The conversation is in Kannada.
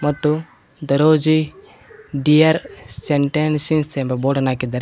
ಮತ್ತು ದರೋಜಿ ಡಿಯರ್ ಸೆಂಟೆನ್ಸುಸ್ ಎಂಬ ಬೋಡ ನ್ನು ಹಾಕಿದ್ದಾರೆ.